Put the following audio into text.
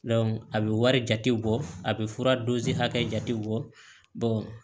a bɛ wari jate bɔ a bɛ fura hakɛ jatew bɔ